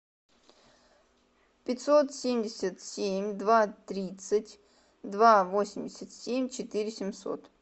пятьсот семьдесят семь два тридцать два восемьдесят семь четыре семьсот